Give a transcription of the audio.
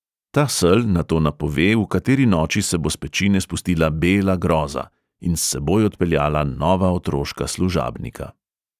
Ta sel nato napove, v kateri noči se bo s pečine spustila bela groza in s seboj odpeljala nova otroška služabnika.